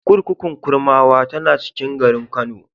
Kurkukun Kurmawa tana cikin garin Kano.